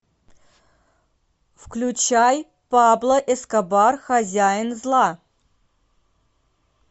включай пабло эскобар хозяин зла